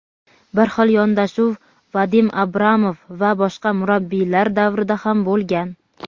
Bir xil yondashuv Vadim Abramov va boshqa murabbiylar davrida ham bo‘lgan.